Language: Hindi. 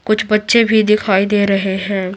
कुछ बच्चे भी दिखाई दे रहे हैं।